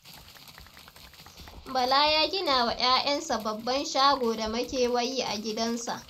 Bala ya ginawa 'ya'yansa babban shago da makewayi a gidansa.